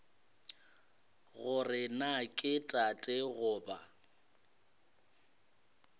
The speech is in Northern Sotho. gore na ke tate goba